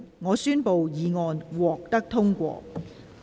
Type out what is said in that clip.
我宣布議案獲得通過。